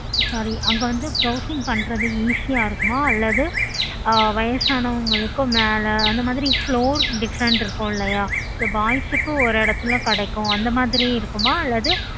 வயசானவங்களுக்கு மேல அந்த மாதிரி floors different இருக்கும் இல்லையா